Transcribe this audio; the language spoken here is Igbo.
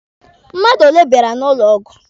Mmadụ ole bịara n'ụlọ ọgwụ?